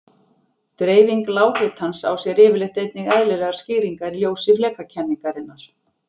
Dreifing lághitans á sér yfirleitt einnig eðlilegar skýringar í ljósi flekakenningarinnar.